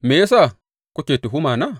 Me ya sa kuke tuhumana?